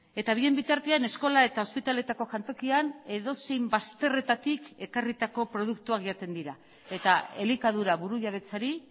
eta bien bitartean eskola eta ospitaletako jantokian edozein bazterretatik ekarritako produktuak jaten dira eta elikadura burujabetzari